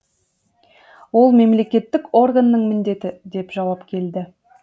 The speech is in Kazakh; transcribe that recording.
ол мемлекеттік органның міндеті деп жауап келді